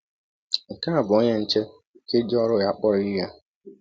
Nke a bụ onye nche nke ji ọrụ ya kpọrọ ihe!